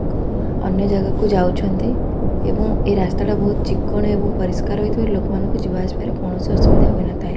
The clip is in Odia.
ଅନ୍ୟ ଜାଗା କୁ ଯାଉଛନ୍ତି ଏବଂ ଏ ରାସ୍ତାଟା ବହୁତ୍ ଚିକ୍କଣ ଏବଂ ପରିଷ୍କାର ହୋଇଥିବାରୁ ଲୋକମାନଙ୍କୁ ଯିବା ଆସିବାରେ କୌଣସି ଅସୁବିଧା ହୋଇନଥାଏ।